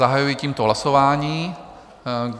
Zahajuji tímto hlasování.